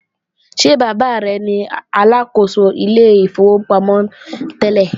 Ṣé bàbá rẹ ni Aláàkóso ilé ìfowópamọ́ tẹ́lẹ̀?